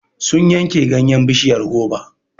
Sun yanke ganyen bishiyar goba.